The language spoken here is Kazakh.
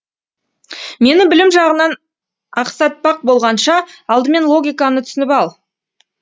мені білім жағынан ақсатпақ болғанша алдымен логиканы түсініп ал